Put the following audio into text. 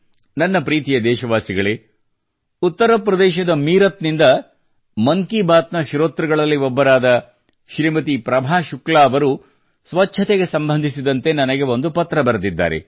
ನನ್ನ ಪ್ರೀತಿಯ ದೇಶವಾಸಿಗಳೇ ಉತ್ತರ ಪ್ರದೇಶದ ಮೀರಟ್ ನಿಂದ ಮನ್ ಕಿ ಬಾತ್ ನ ಶ್ರೋತೃಗಳಲ್ಲಿ ಒಬ್ಬರಾದ ಶ್ರೀಮತಿ ಪ್ರಭಾ ಶುಕ್ಲಾ ಅವರು ಸ್ವಚ್ಛತೆಗೆ ಸಂಬಂಧಿಸಿದಂತೆ ನನಗೆ ಒಂದು ಪತ್ರ ಬರೆದಿದ್ದಾರೆ